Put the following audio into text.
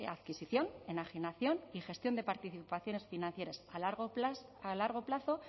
adquisición enajenación y gestión de participaciones financieras a largo plazo